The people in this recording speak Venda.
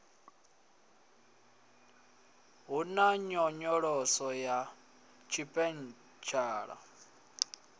hu na nyonyoloso ya tshipentshala